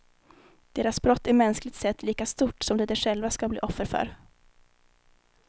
Deras brott är mänskligt sett lika stort som det de själva ska bli offer för.